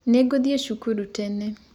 Nĩngũthĩe cũkũrũ tene.